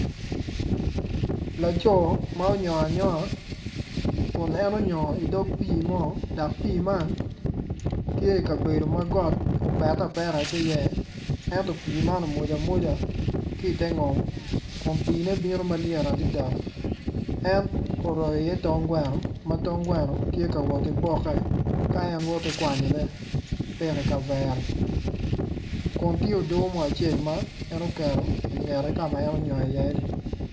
Laco ma onyongo anyoga kun en onyogo idog pii mo dok pii man tye ikabedo ma got opete apeta ki iye ento pii man omwoc amwca ki ite ngom kun piine bino malyet adada en oroyo iye tong gweno ma tong gweno tye ka woti bokke ka en woti kwanyone piko i kavere kun tye odo mo acel en oketo ingete ka ma en onyongo iyeni.